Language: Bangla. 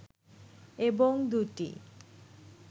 এবং দু’টি